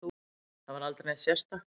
Það var aldrei neitt sérstakt.